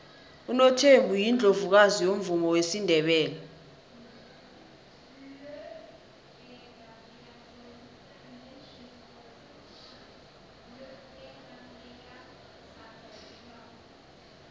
unothembi yiundlovukazi yomvumo wesindebele